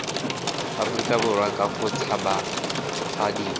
aforika borwa ka go tshabafadiwa